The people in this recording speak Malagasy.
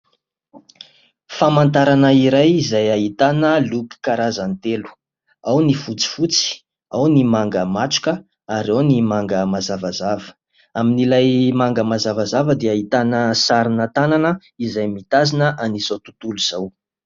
Famantarana iray izay ahitana loko karazany telo : ao ny fotsifotsy, ao ny manga matroka, ary ao ny manga mazavazava. Amin'ilay manga mazavazava dia ahitana sarina tanana, izay mitazona an'izao tontolo izao.